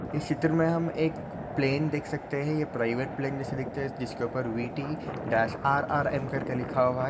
इस चित्र मे हम एक प्लेन देख सकते है ये प्राइवेट प्लेन जैसी दिखती जिसके ऊपर वी_टी -आर_आर _एम करके लिखा हुआ है।